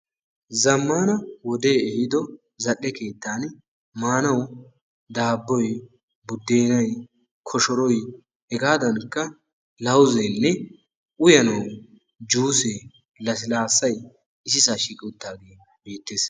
zamaana wodee ehiido zal'e keettani maanawu daaboy budeennay, koshoroy, hegaadankka uyanawu lawuzee lassilaasay issisaa shiiqqaagee beetees.